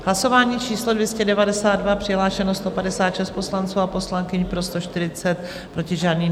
Hlasování číslo 292, přihlášeno 156 poslanců a poslankyň, pro 140, proti žádný.